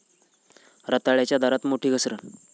रताळ्याच्या दरात मोठी घसरण